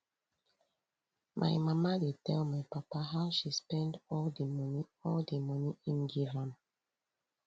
my mama dey tell my papa how she spend all di moni all di moni im give am